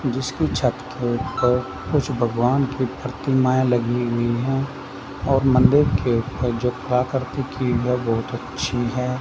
जिसकी छत के ऊपर कुछ भगवान की प्रतिमाएं लगी हुई है और मंदिर के ऊपर जो प्राकृतिक बहुत अच्छी है।